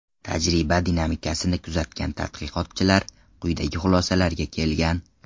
Tajriba dinamikasini kuzatgan tadqiqotchilar quyidagi xulosalarga kelgan.